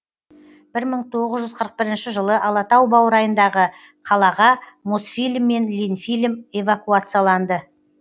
бір мың тоғыз жүз қырық бірінші жылы алатау баурайындағы қалаға мосфильм мен ленфильм эвакуацияланды